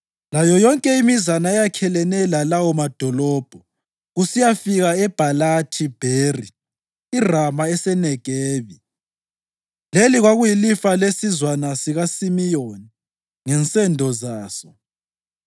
layo yonke imizana eyakhelene lalawo madolobho kusiyafika eBhalathi-Bheri (iRama eseNegebi). Leli kwakuyilifa lesizwana sikaSimiyoni ngensendo zaso.